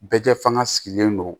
Bɛɛ fanga sigilen don